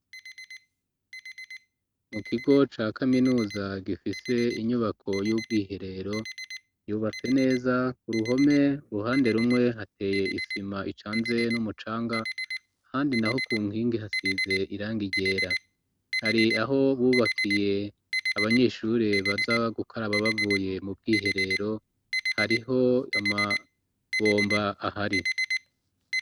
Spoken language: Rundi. Mu kigo ca kaminuza gifise inyubako y'ubwiherero yubatse neza ku ruhome uruhande rumwe hateye isima icanze n'umucanga ahandi naho ku nkingi hasize irangi ryera hari aho bubakiye abanyeshuri baza gukoraba bavuye mu bwiherero hariho ama bombo ahari.